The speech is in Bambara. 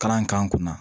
Kalan k'an kunna